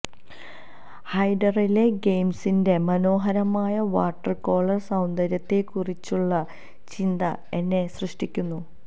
ഹൈഡറിലെ ഗെയിംസിന്റെ മനോഹരമായ വാട്ടർകോളർ സൌന്ദര്യത്തെക്കുറിച്ചുള്ള ചിന്ത എന്നെ സ്യഷ്ടിക്കുന്നു